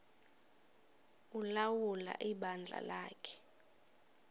ulawula ibandla lakhe